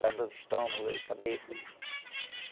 Para dor de estômago, dor de cabeça.